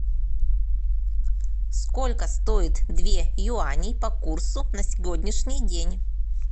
сколько стоит две юани по курсу на сегодняшний день